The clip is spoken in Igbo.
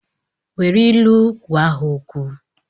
Nwere ilu gwa ha okwu!